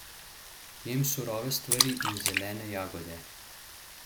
Jem surove stvari in zelene jagode.